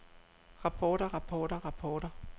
rapporter rapporter rapporter